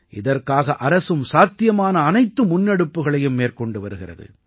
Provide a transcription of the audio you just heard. இதற்காக அரசும் சாத்தியமான அனைத்து முன்னெடுப்புக்களையும் மேற்கொண்டு வருகிறது